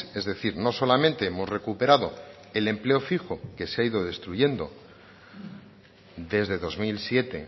es decir no solamente hemos recuperado el empleo fijo que se ha ido destruyendo desde dos mil siete